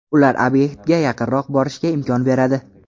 Ular obyektga yaqinroq borishga imkon beradi.